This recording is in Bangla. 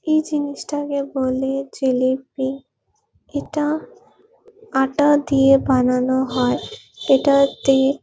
এই জিনিসটাকে বলে জিলিপি এটা আটা দিয়ে বানানো হয় এটার টে--